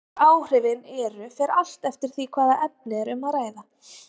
hver áhrifin eru fer allt eftir því hvaða efni er um að ræða